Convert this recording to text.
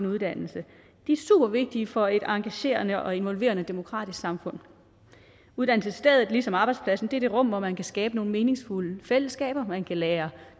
uddannelse er super vigtige for et engagerende og involverende demokratisk samfund uddannelsesstedet er ligesom arbejdspladsen det rum hvor man kan skabe nogle meningsfulde fællesskaber hvor man kan lære